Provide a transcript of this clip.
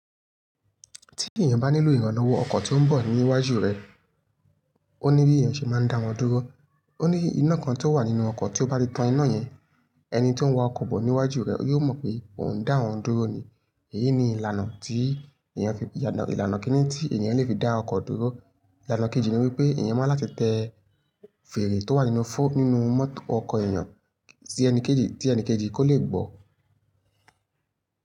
Tí èèyàn bá nílò ìrànlọ́wọ́ ọkọ̀ tó ń bọ̀ ní iwájú rẹ̀, ó ní bí èèyàn ṣe máa ń dáwọn dúró. Ó ní iná kan tó wà nínú ọkọ̀ tí ó bá ti tan iná yẹn, ẹni tó ń wa ọkọ̀ bọ̀ níwájú rẹ̀ yóò mọ̀ pé ò ń dá òun dúró ni. Èyí ni ìlànà tí èèyàn fi, ìlànà kínní tí èèyàn lè fi dá ọkọ̀ dúró. Ìlànà kejì ni wípé èèyàn máa ń láti tẹ fèrè tó wà nínú fọ́ nínú mọ́tò ọkọ̀ èèyàn tí ẹni kejì, tí ẹni kejì kò lè gbọ́.